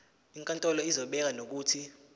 inkantolo izobeka nokuthi